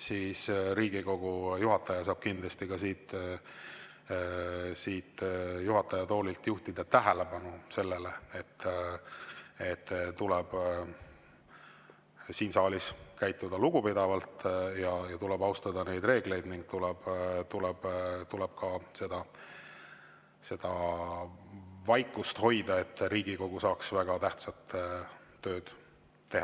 siis kindlasti saab Riigikogu juhataja ka siit juhataja toolilt juhtida sellele tähelepanu, et siin saalis tuleb käituda lugupidavalt, tuleb austada reegleid ning tuleb hoida vaikust, et Riigikogu saaks teha väga tähtsat tööd.